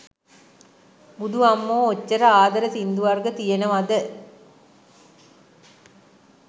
බුදු අම්මෝ ඔච්චර ආදර සිංදු වර්ග තියෙනව ද?